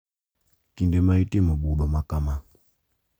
Kinde ma itimo budho makama,